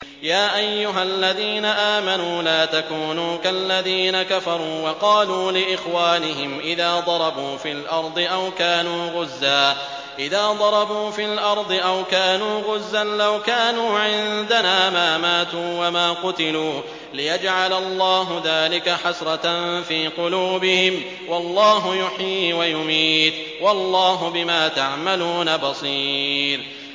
يَا أَيُّهَا الَّذِينَ آمَنُوا لَا تَكُونُوا كَالَّذِينَ كَفَرُوا وَقَالُوا لِإِخْوَانِهِمْ إِذَا ضَرَبُوا فِي الْأَرْضِ أَوْ كَانُوا غُزًّى لَّوْ كَانُوا عِندَنَا مَا مَاتُوا وَمَا قُتِلُوا لِيَجْعَلَ اللَّهُ ذَٰلِكَ حَسْرَةً فِي قُلُوبِهِمْ ۗ وَاللَّهُ يُحْيِي وَيُمِيتُ ۗ وَاللَّهُ بِمَا تَعْمَلُونَ بَصِيرٌ